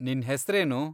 ನಿನ್ ಹೆಸ್ರೇನು?